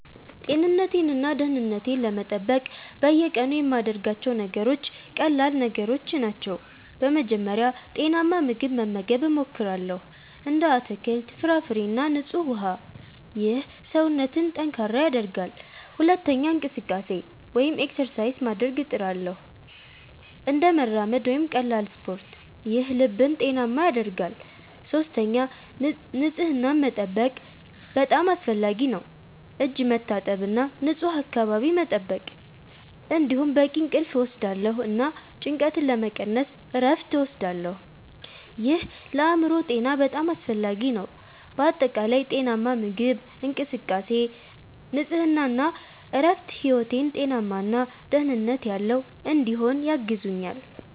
ጤንነቴን እና ደህንነቴን ለመጠበቅ በየቀኑ የምያደርጋቸው ነገሮች ቀላል ነገሮች ናቸው። በመጀመሪያ ጤናማ ምግብ መመገብ እሞክራለሁ፣ እንደ አትክልት፣ ፍራፍሬ እና ንጹህ ውሃ። ይህ ሰውነትን ጠንካራ ያደርጋል። ሁለተኛ እንቅስቃሴ (exercise) ማድረግ እጥርሳለሁ፣ እንደ መራመድ ወይም ቀላል ስፖርት። ይህ ልብን ጤናማ ያደርጋል። ሶስተኛ ንጽህናን መጠበቅ በጣም አስፈላጊ ነው፣ እጅ መታጠብ እና ንፁህ አካባቢ መጠበቅ። እንዲሁም በቂ እንቅልፍ እወስዳለሁ እና ጭንቀትን ለመቀነስ እረፍት እወስዳለሁ። ይህ ለአእምሮ ጤና በጣም አስፈላጊ ነው። በአጠቃላይ ጤናማ ምግብ፣ እንቅስቃሴ፣ ንጽህና እና እረፍት ሕይወቴን ጤናማ እና ደህንነት ያለው እንዲሆን ያግዙኛል